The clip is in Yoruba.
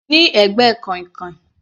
Ní ẹ̀gbẹ́ kàìnkàìn.